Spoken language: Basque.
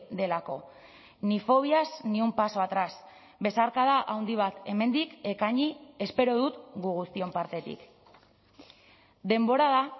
delako ni fobias ni un paso atrás besarkada handi bat hemendik ekaini espero dut gu guztion partetik denbora da